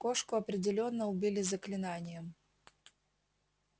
кошку определённо убили заклинанием